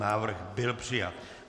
Návrh byl přijat.